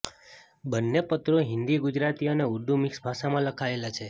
બંને પત્રો હિન્દી ગુજરાતી અને ઊર્દૂ મિક્સ ભાષામાં લખાયેલા છે